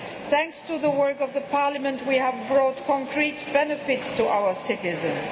Thanks to the work of Parliament, we have brought tangible benefits to our citizens.